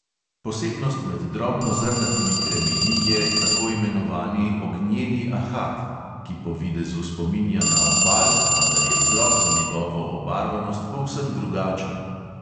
Posebnost med drobnozrnatimi kremeni je tako imenovani ognjeni ahat, ki po videzu spominja na opal, vendar je vzrok za njegovo obarvanost povsem drugačen.